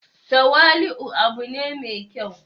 tawali'u u abu ne mai kyau